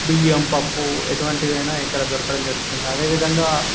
బియ్యం పప్పు ఎటువతివైన ఇక్కడ దొరకడం జరుగుతుంది అధేవిధంగా --